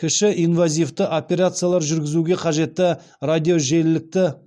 кіші инвазивті операциялар жүргізуге қажетті радиожиілікті